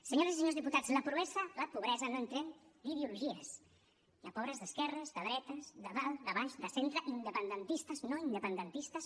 senyores i senyors diputats la pobresa no entén d’ideologies hi ha pobres d’esquerres de dretes de dalt de baix de centre independentistes no independentistes